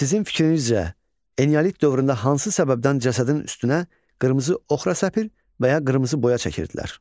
Sizin fikrinizcə, eneolit dövründə hansı səbəbdən cəsədin üstünə qırmızı oxra səpir və ya qırmızı boya çəkirdilər?